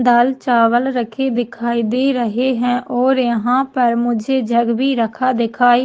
दाल चावल रखे दिखाई दे रहै है और यहाँ पर मुझे जग भी रखा दिखाई--